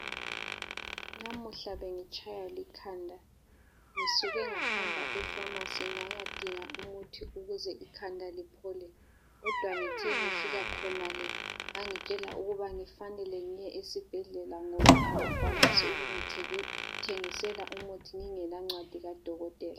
Namuhla bengitshaywa likhanda. Ngisuke ngahamba efamasi ngayadinga umuthi ukuze ikhanda liphole kodwa ngithe ngifika khonale bangitshela ukuba ngifanele ngiye esibhedlela ngoba abakwanisi ukungithengisela umuthi ngingelancwadi kadokotela.